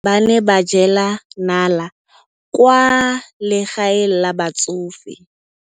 Basadi ba ne ba jela nala kwaa legaeng la batsofe.